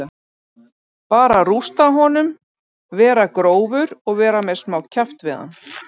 Bara að rústa honum, vera grófur og vera með smá kjaft við hann